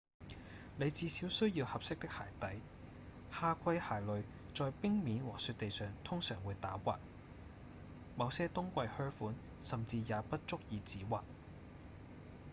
你至少需要合適的鞋底夏季鞋類在冰面和雪地上通常會打滑某些冬季靴款甚至也不足以止滑